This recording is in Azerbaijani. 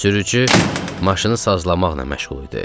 Sürücü maşını sazlamaqla məşğul idi.